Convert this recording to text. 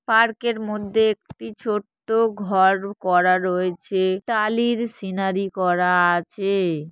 পার্কের মধ্যে একটি ছোট্ট ঘর করা রয়েছে টালির সিনারি করা আছে-এ।